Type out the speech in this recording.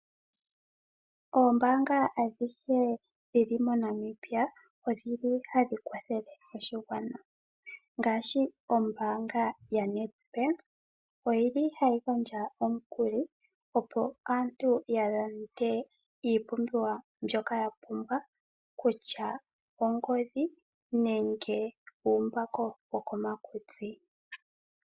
Oombaanga adhihe dhili moNamibia, odhili hadhi kwathele oshigwana ngaashi ombaanga yaNed bank, oyili hayi gandja omukuli opo aantu ya lande iipumbiwa yawo mbyoka ya pumbwa kutya ongodhi, nenge uumbako wo komakutsi.